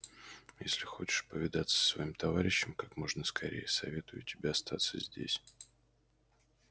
если хочешь повидаться со своим товарищем как можно скорее советую тебе остаться здесь